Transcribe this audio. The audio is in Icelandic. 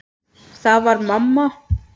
Það var mamma.